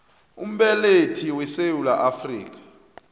umbelethi wesewula afrika